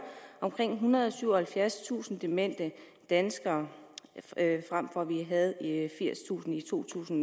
omkring ethundrede og syvoghalvfjerdstusind demente danskere hvor vi havde firstusind i to tusind